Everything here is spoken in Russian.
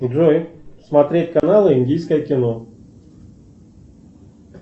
джой смотреть канал индийское кино